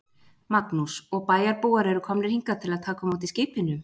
Magnús: Og bæjarbúar eru komnir hingað til að taka á móti skipinu?